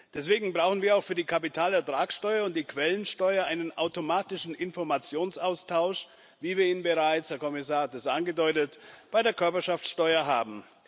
Deswegen brauchen wir auch für die Kapitalertragsteuer und die Quellensteuer einen automatischen Informationsaustausch, wie wir ihn bereits der Kommissar hat es angedeutet bei der Körperschaftsteuer haben.